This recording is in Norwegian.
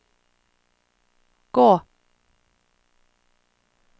gå